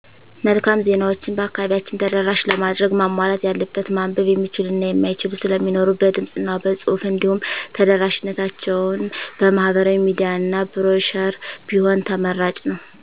መልካም ዜናዎችን በአከባቢያችን ተደራሽ ለማድረግ ማሟላት ያለበት ማንበብ የሚችሉ እና የማይችሉ ስለሚኖሩ በድምፅ እና በፁሑፍ እንዲሁም ተደራሽነታቸውን በማህበራዊ ሚዲያ እና ብሮሸር ቢሆን ተመራጭ ነው።